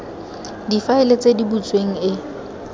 difaele tse di butsweng e